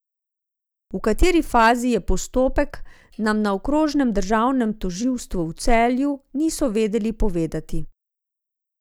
V kateri fazi je postopek, nam na okrožnem državnem tožilstvu v Celju niso vedeli povedati.